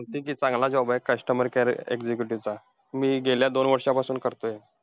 तर अतिशय चांगला job आहे, customer care executive चा मी गेल्या दोन वर्षांपासून करतोय.